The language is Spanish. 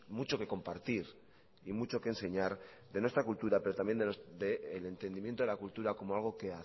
mucho que compartir y mucho que enseñar de nuestra cultura pero también de el entendimiento de la cultura como algo que